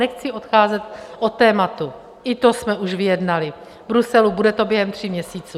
Nechci odcházet od tématu, i to jsme už vyjednali v Bruselu, bude to během tří měsíců.